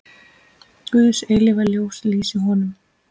Guðs eilífa ljós lýsi honum.